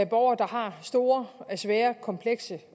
borgere der har store svære komplekse